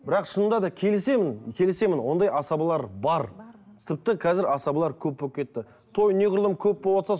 бірақ шынында да келісемін келісемін ондай асабалар бар тіпті қазір асабалар көп болып кетті той неғұрлым көп болыватса